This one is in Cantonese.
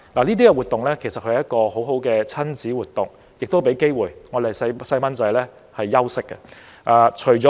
這些節目其實是很好的親子活動，亦給我們的孩子休息的機會。